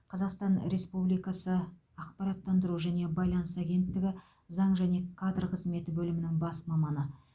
қазақстан республикасы ақпараттандыру және байланыс агенттігі заң және кадр қызметі бөлімінің бас маманы